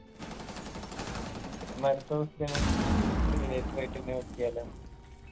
okay എന്നാ അടുത്ത question ഉം tourist related ആയിട്ടന്നെ നോക്കിയാലോ